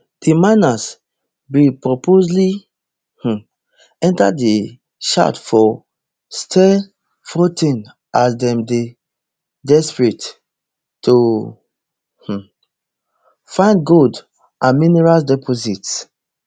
di miners bin purposely um enta di shaft for stilfontein as dem dey desperate to um find gold or mineral deposits